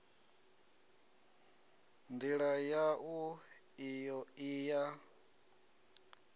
ndila yau iyo i ya